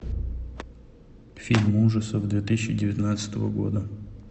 фильм ужасов две тысячи девятнадцатого года